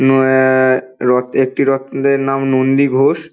কোন এ-এ-এ-ক রথে একটি রথের নাম নন্দী ঘোষ।